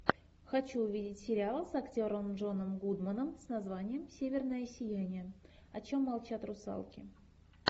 хочу увидеть сериал с актером джоном гудманом с названием северное сияние о чем молчат русалки